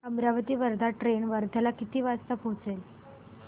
Amravati Wardha train वर्ध्याला किती वाजता पोहचेल